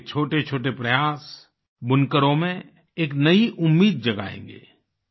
आपके छोटेछोटे प्रयास बुनकरों में एक नई उम्मीद जगाएँगे